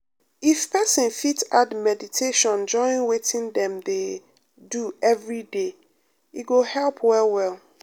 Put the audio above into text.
if person fit add meditation join wetin dem um dey um do everyday e go um help well well.